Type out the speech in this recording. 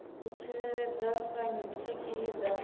u tsireledza kha khiyi dza